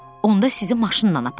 Onda sizi maşınla aparım.